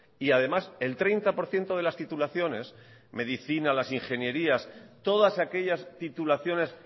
y además el treinta por ciento de las titulaciones medicina las ingenierías todas aquellas titulaciones